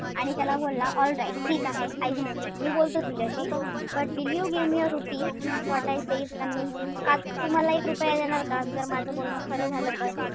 आणि त्याला बोलला alright ठीक आहे. I will speak मी बोलतो तुझ्याशी. But will you give me a rupee if what I say is convincing का तू मला एक रुपया देणार का जर माझं बोलणं खरं झालं तर?